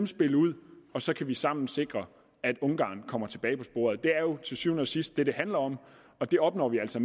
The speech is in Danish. spille ud så kan vi sammen sikre at ungarn kommer tilbage på sporet det er jo til syvende og sidst det det handler om og det opnår vi altså